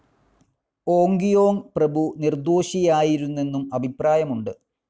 ഓങ്കിയോങ് പ്രഭു നിർദ്ദോഷിയായിരുന്നെന്നും അഭിപ്രായമുണ്ട്.